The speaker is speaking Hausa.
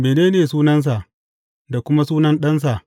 Mene ne sunansa, da kuma sunan ɗansa?